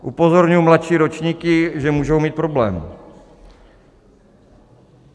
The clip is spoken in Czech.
Upozorňuji mladší ročníky, že můžou mít problém.